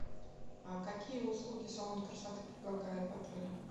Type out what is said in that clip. а какие услуги салон красоты предлагает в отеле